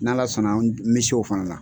N'Ala sɔn na me se o fana la.